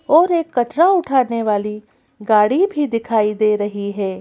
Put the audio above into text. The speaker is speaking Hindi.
और एक कचरा उठाने वाली गाड़ी भी दिखाई दे रही हैं।